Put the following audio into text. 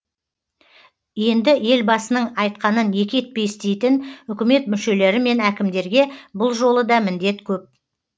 енді елбасының айтқанын екі етпей істейтін үкімет мүшелері мен әкімдерге бұл жолы да міндет көп